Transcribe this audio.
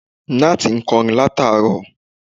Nátì ń kọrin láti àárọ̀